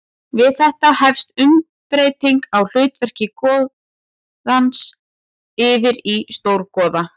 Við þetta hefst umbreyting á hlutverki goðans yfir í stórgoða.